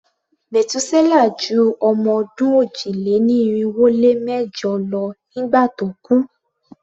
Metuselah ju ọmọ-ọdún òjì-lé-ní-irinwó-lé-mẹ́jọ lọ nígbà tó kú.